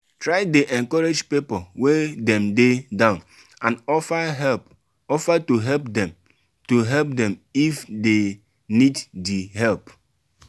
try de encourage pipo when dem de down and offer to help dem to help dem if dey need di help